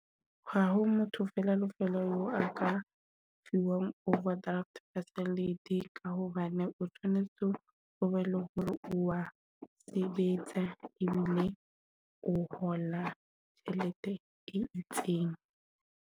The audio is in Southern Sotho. Ha ha motho fela lefelo a ka fuwang overdraft facility ka hobane o tshwanetse o be le hore wa sebetsa ebile o hola tjhelete e itseng.